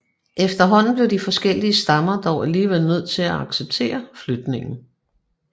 Efterhånden blev de forskellige stammer dog alligevel nødt til at acceptere flytningen